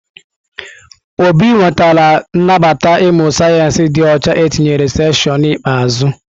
Obi nwetara nnabata ịmụ sayensị dị ọcha etinyere seshịonụ ikpeazụ.